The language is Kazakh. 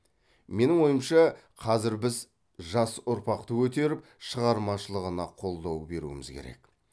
менің ойымша қазір біз жас ұрпақты көтеріп шығармашылығына қолдау беруіміз керек